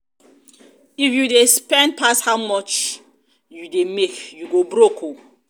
if you dey spend pass how much pass how much you dey make you go broke oo